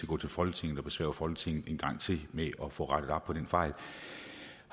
gå til folketinget og besvære folketinget en gang til med at få rettet op på den fejl